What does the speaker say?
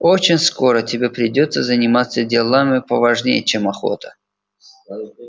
очень скоро тебе придётся заниматься делами поважнее чем охота